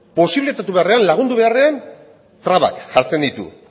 posibilitatu beharrean lagundu beharrean trabak jartzen ditu